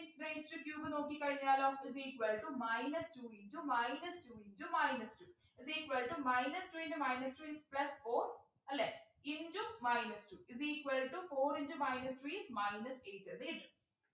X raised to cube നോക്കിക്കഴിഞ്ഞാലോ is equal to minus two into minus two into minus two is equal to minus two into minus two is plus four അല്ലെ into minus two is equal to four into minus three minus eight എന്നു കിട്ടും